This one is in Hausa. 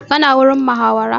Ka na wajen muhawara?